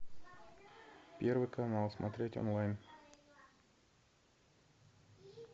первый канал смотреть онлайн